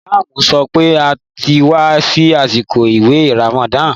Ìmáàmù sọ pé a ti wà ní àsìkò àwẹ̀ ràmàdánà